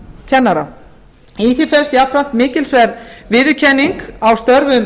leikskólakennara í því felst jafnframt mikilsverð viðurkenning á störfum